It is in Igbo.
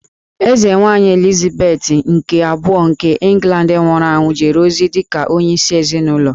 Eze Nwanyị Elizabeth nke Abụọ nke England nwụrụ anwụ jere ozi dịka onye isi ezịnụlọ